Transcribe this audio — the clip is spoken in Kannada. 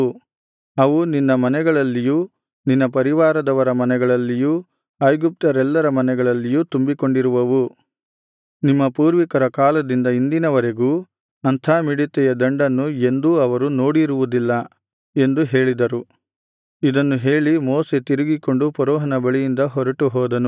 ಅವು ನಿನ್ನ ಮನೆಗಳಲ್ಲಿಯೂ ನಿನ್ನ ಪರಿವಾರದವರ ಮನೆಗಳಲ್ಲಿಯೂ ಐಗುಪ್ತ್ಯರೆಲ್ಲರ ಮನೆಗಳಲ್ಲಿಯೂ ತುಂಬಿಕೊಂಡಿರುವವು ನಿಮ್ಮ ಪೂರ್ವಿಕರ ಕಾಲದಿಂದ ಇಂದಿನವರೆಗೂ ಅಂಥ ಮಿಡತೆಯ ದಂಡನ್ನು ಎಂದೂ ಅವರು ನೋಡಿರುವುದಿಲ್ಲ ಎಂದು ಹೇಳಿದರು ಇದನ್ನು ಹೇಳಿ ಮೋಶೆ ತಿರುಗಿಕೊಂಡು ಫರೋಹನ ಬಳಿಯಿಂದ ಹೊರಟುಹೋದನು